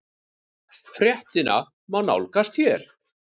Fréttina má nálgast hér